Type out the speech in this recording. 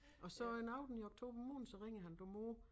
Og så en aften i oktober måned så ringede han du mor